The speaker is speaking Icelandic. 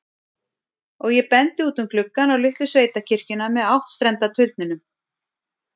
Og ég bendi út um gluggann, á litlu sveitakirkjuna með áttstrenda turninum.